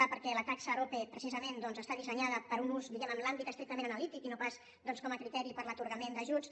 a perquè la taxa arope precisament doncs està dissenyada per a un ús diguem ne en l’àmbit estrictament analític i no pas com a criteri per a l’atorgament d’ajuts